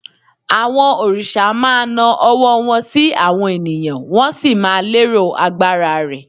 àwọn òrìṣà ma na ọwọ́ wan sí àwọn ènìyàn, wọn sì má lero agbara rẹ